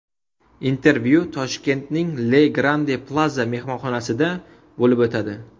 Intervyu Toshkentning Le Grande Plaza mehmonxonasida bo‘lib o‘tadi.